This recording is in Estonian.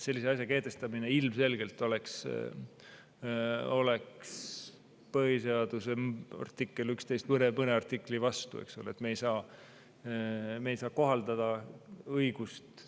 Sellise asja kehtestamine ilmselgelt oleks põhiseaduse 11 ja veel mõne vastu, eks ole.